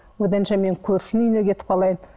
одан да мен көршінің үйіне кетіп қалайын